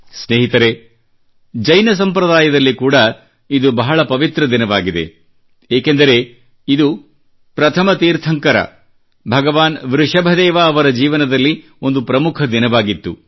ಸ್ನೇಹಿತರೆ ಜೈನ ಸಂಪ್ರದಾಯದಲ್ಲಿ ಕೂಡಾ ಇದು ಬಹಳ ಪವಿತ್ರ ದಿನವಾಗಿದೆ ಏಕೆಂದರೆ ಇದು ಪ್ರಥಮ ತೀರ್ಥಂಕರ ಭಗವಾನ್ ವೃಷಭದೇವ್ ಅವರ ಜೀವನದಲ್ಲಿ ಒಂದು ಪ್ರಮುಖ ದಿನವಾಗಿತ್ತು